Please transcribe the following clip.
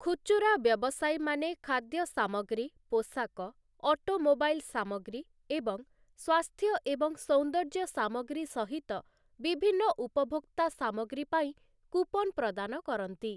ଖୁଚୁରା ବ୍ୟବସାୟୀମାନେ ଖାଦ୍ୟ ସାମଗ୍ରୀ, ପୋଷାକ, ଅଟୋମୋବାଇଲ୍ ସାମଗ୍ରୀ ଏବଂ ସ୍ୱାସ୍ଥ୍ୟ ଏବଂ ସୌନ୍ଦର୍ଯ୍ୟ ସାମଗ୍ରୀ ସହିତ ବିଭିନ୍ନ ଉପଭୋକ୍ତା ସାମଗ୍ରୀ ପାଇଁ କୁପନ୍ ପ୍ରଦାନ କରନ୍ତି ।